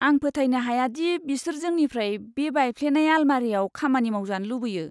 आं फोथायनो हाया दि बिसोर जोंनिफ्राय बे बायफ्लेनाय आलमारियाव खामानि मावजानो लुबैयो!